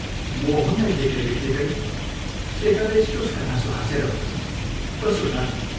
मोहनलाई देख्नेबित्तिकै शेखरले शुष्क हाँसो हाँसेर भन्यो, "कसो ता?